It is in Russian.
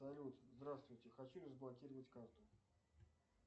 салют здравствуйте хочу разблокировать карту